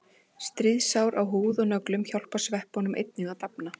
Smásár á húð og nöglum hjálpa sveppunum einnig að dafna.